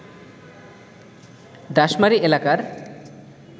ডাশমারি এলাকার